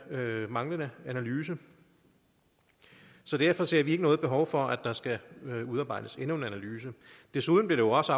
manglende analyse derfor ser vi ikke noget behov for at der skal udarbejdes endnu en analyse desuden blev det også